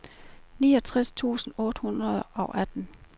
niogtres tusind otte hundrede og atten